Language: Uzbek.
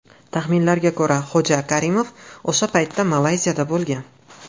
Taxminlarga ko‘ra, Xo‘ja Karimov o‘sha paytda Malayziyada bo‘lgan.